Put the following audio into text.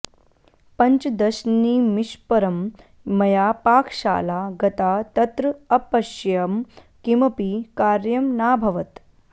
पञ्चदशनिमिषपरं मया पाकशाला गता तत्र अपश्यं किमपि कार्यं नाभवत्